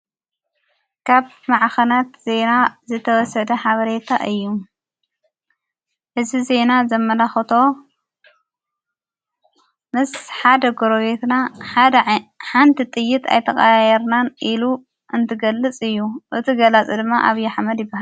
ካብ መዓኸናት ዜና ዘተወሰደ ሓበሬታ እዩ። እዝ ዜና ዘመላኹቶ ምስ ሓደ ጐሮቤትና ሓንቲ ጥይት ኣይተቀያየርናን ኢሉ እንትገልጽ እዩ። እቲ ገላጽ ድማ ኣብዪ ኣሕመድ ይበሃል።